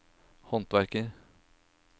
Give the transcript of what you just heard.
håndverker